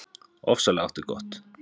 Ofsalega áttu gott.